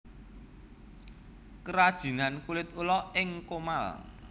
Krajinan Kulit Ula ing Comal